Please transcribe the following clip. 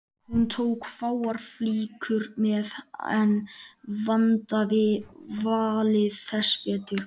Hún tók fáar flíkur með en vandaði valið þess betur.